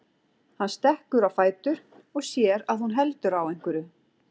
Hann stekkur á fætur og sér að hún heldur á einhverju.